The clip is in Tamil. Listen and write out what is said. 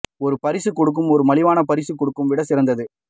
ஒரு பரிசு கொடுக்கும் ஒரு மலிவான பரிசு கொடுக்கும் விட சிறந்தது